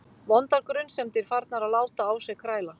Vondar grunsemdir farnar að láta á sér kræla.